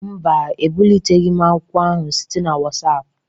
Mba, ebuliteghị m akwụkwọ ahụ site na WhatsApp